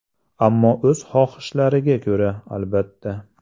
Ammo o‘z xohishlariga ko‘ra, albatta.